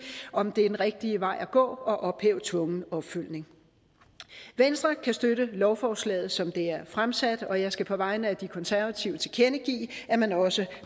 om det er den rigtige vej at gå at ophæve tvungen opfølgning venstre kan støtte lovforslaget som det er fremsat og jeg skal på vegne af de konservative tilkendegive at man også